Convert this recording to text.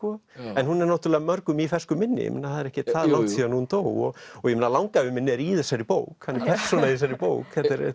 en hún er náttúrulega mörgum í fersku minni ég meina það er ekkert það langt síðan hún dó ég meina langafi minn er í þessari bók hann er persóna í þessari bók þetta er